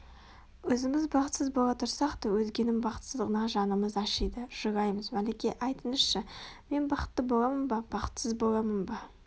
Өзіміз бақытсыз бола тұрсақ та өзгенің бақытсыздығына жанымыз ашиды жылаймыз Мәлике айтыңызшы мен бақытты боламын ба бақытсыз боламын ба